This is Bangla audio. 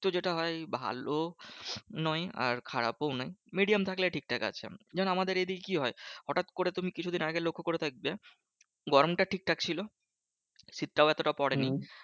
যেটা হয় ভালো নয় আর খারাপও নয়। medium থাকলে ঠিকঠাক আছে। যেমন আমাদের এদিকে কি হয়? হটাৎ করে কিছুদিন আগে লক্ষ্য করে দেখবে গরমটা ঠিকঠাক ছিল। শীতটাও এতটা পরে নি।